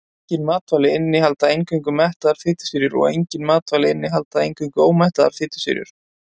Engin matvæli innihalda eingöngu mettaðar fitusýrur og engin matvæli innihalda eingöngu ómettaðar fitusýrur.